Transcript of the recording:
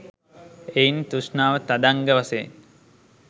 එයින් තෘෂ්ණාව තදංග වශයෙන්